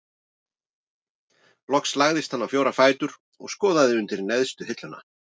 Loks lagðist hann á fjóra fætur og skoðaði undir neðstu hilluna.